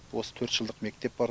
осы төрт жылдық мектеп бар